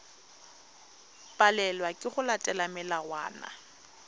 palelwa ke go latela melawana